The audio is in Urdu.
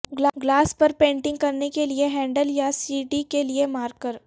گلاس پر پینٹنگ کرنے کے لئے ہینڈل یا سی ڈی کے لئے مارکر